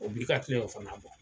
O b'i ka kila fana bɔ